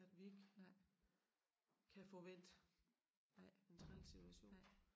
At vi ikke kan få vendt den træls situation